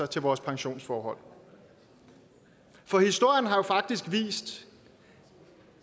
til vores pensionsforhold for historien har jo faktisk vist